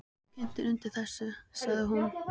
Þú kyntir undir þessu, sagði hún.